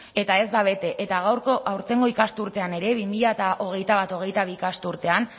eta ez da bete eta gaurko aurtengo ikasturtean ere bi mila hogeita bat hogeita bi ikasturtean